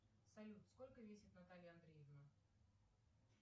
салют сколько весит наталья андреевна